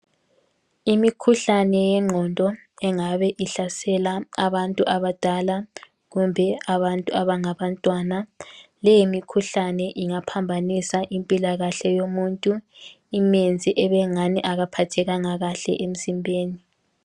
Imikhuhlane yengqondo engabe ihlasela abantu abadala kumbe abantu abangabantwana leyi mkhuhlane ingaphambanisa impilakahle yomuntu imenze ebengani akaphathekanga kahle emzimbeni.